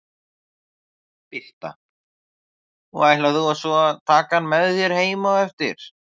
Birta: Og ætlar þú svo að taka hann með þér heim á eftir?